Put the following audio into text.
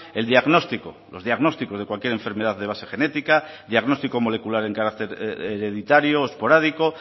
el diagnóstico los diagnósticos de cualquier enfermedad de base genética diagnóstico molecular en carácter hereditario o esporádico